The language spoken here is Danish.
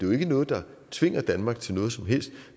jo ikke noget der tvinger danmark til noget som helst